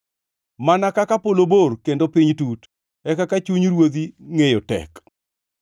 Mana kaka polo bor kendo piny tut, e kaka chuny ruodhi ngʼeyo tek.